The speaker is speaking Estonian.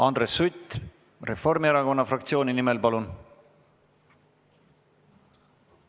Andres Sutt Reformierakonna fraktsiooni nimel, palun!